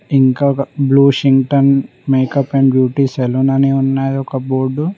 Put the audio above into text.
ఇంకొక బ్లూ షింటన్ makeup and salon అనే ఉన్నాడు ఒక బోర్డు .